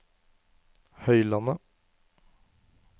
Høylandet